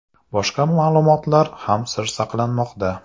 Boshqa ma’lumotlar ham sir saqlanmoqda.